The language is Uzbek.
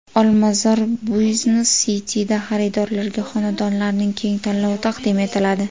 Olmazor Business City’da xaridorlarga xonadonlarning keng tanlovi taqdim etiladi.